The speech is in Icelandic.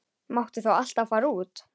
Máttu þá alltaf fara út?